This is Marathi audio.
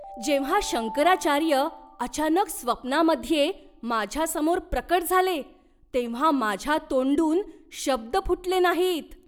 जेव्हा शंकराचार्य अचानक स्वप्नामध्ये माझ्यासमोर प्रकट झाले तेव्हा माझ्या तोंडून शब्द फुटले नाहीत.